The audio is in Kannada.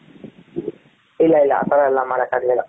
ಇಲ್ಲ ಇಲ್ಲ ಆ ತರ ಎಲ್ಲ ಮಾಡಕ್ಕಾಗ್ಲಿಲ್ಲ,